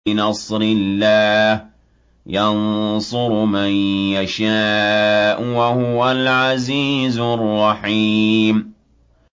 بِنَصْرِ اللَّهِ ۚ يَنصُرُ مَن يَشَاءُ ۖ وَهُوَ الْعَزِيزُ الرَّحِيمُ